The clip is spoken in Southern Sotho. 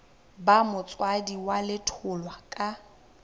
ba motswadi wa letholwa ka